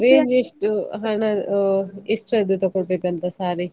range ಎಷ್ಟು ಹಣ ಅಹ್ ಎಷ್ಟ್ರದ್ದು ತಕೊಳ್ಬೇಕು ಅಂತ saree .